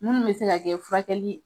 Munnu be se ka kɛ furakɛli